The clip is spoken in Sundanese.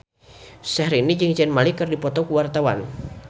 Syahrini jeung Zayn Malik keur dipoto ku wartawan